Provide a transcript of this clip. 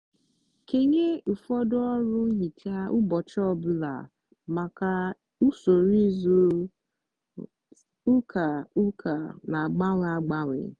kenye ụfọdụ ọrụ nhicha ụbọchị ọ bụla maka usoro izu ụka ụka na-agbanwe agbanwe.